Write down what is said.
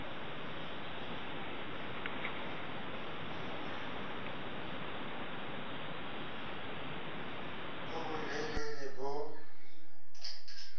bo bo lelele le bo